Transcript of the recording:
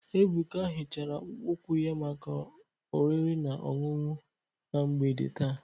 Ebuka hichara akpụkpọ ụkwụ ya maka oriri na ọṅụṅụ na mgbede taa.